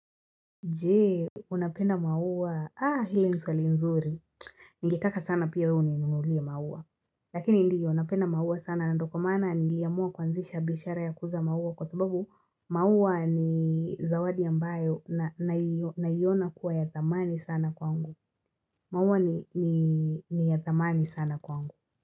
Jee, unapenda maua. Ah, hili ni swali nzuri. Ningetaka sana pia wewe uninunulie maua. Lakini ndiyo napenda maua sana. Ndio kwa maana, niliamua kuanzisha biashara ya kuuza maua. Kwa sababu, maua ni zawadi ambayo naiona kuwa ya thamani sana kwangu. Maua ni ya thamani sana kwangu.